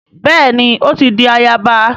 Béèni o ti dì àyaba